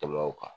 Tɛmɛ o kan